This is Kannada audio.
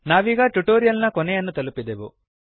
ನಾವೀಗ ಟ್ಯುಟೋರಿಯಲ್ ನ ಕೊನೆಯನ್ನು ತಲುಪಿದೆವು